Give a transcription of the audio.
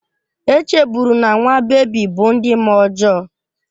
E chebụrụ na nwa bebi bụ ndị mmụọ ọjọọ